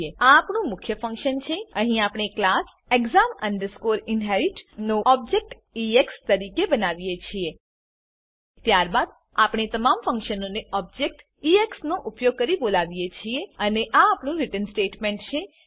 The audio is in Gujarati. આ આપણું મુખ્ય ફંક્શન છે અહીં આપણે ક્લાસ exam inherit નો ઓબજેક્ટ એક્સ તરીકે બનાવીએ છીએ ત્યારબાદ આપણે તમામ ફંક્શનોને ઓબજેક્ટ એક્સ ઉપયોગ કરી બોલાવીએ છીએ અને આ આપણું રીટર્ન સ્ટેટમેંટ છે